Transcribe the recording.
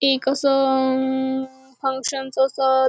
ते कसं हम्म हौशांच असत.